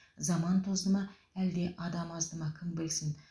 заман тозды ма әлде адам азды ма кім білсін